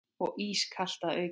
Og ískalt að auki.